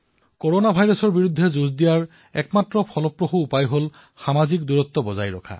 corona ভাইৰাছৰ সৈতে যুঁজ কৰাৰ সবাতোকৈ কাৰ্যকৰী পদ্ধতি হল সামাজিক ব্যৱধান